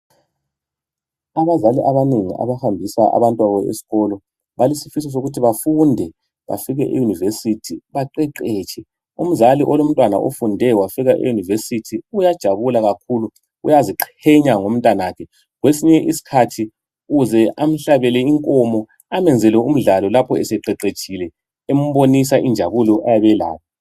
Abazali abanengi abahambisa abantwababo esikolo balesifiso sokuthi bafunde bafike eyunivesithi baqeqetshe, umzali olomntwana ofunde wafika eyunivesithi uyajabula kakhulu uyaziqhenya ngomntanakhe kwesinye isikhathi uze amhlabele inkomo amenzele umdlalo lapho seqeqetshile embonisa injabulo ayabe elayo.